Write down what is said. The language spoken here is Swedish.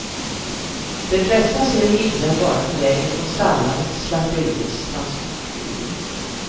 De flesta ser himlen bara på vägen från stallarna till slakteriets transportbil.